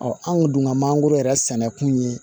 an kun dun ka mangoro yɛrɛ sɛnɛ kun ye